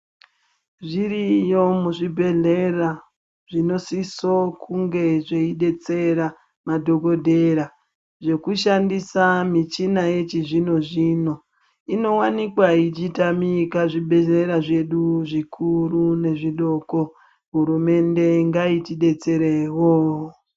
Zviriyo muzvibhedhlera, zvinosiso kunge zveidetsera madhokodhera zvekushandisa, michina yechizvino-zvino ,inowanikwa ichitamika zvibhedhlera zvedu zvikuru nezvidoko . Hurumende ngaitidetserewo.